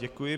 Děkuji.